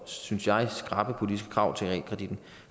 synes jeg politiske krav til realkreditten